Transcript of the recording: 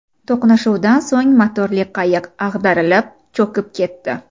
To‘qnashuvdan so‘ng motorli qayiq ag‘darilib, cho‘kib ketdi.